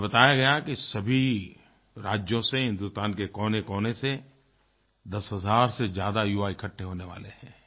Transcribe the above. मुझे बताया गया कि सभी राज्यों से हिंदुस्तान के कोनेकोने से 10 हज़ार से ज़्यादा युवा इकट्ठे होने वाले हैं